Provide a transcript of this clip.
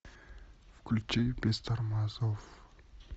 включи без тормозов